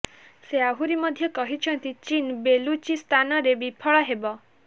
ସେ ଆହୁରି ମଧ୍ୟ କହିଛନ୍ତି ଚୀନ ବେଲୁଚିସ୍ତାନରେ ବିଫଳ ହେବ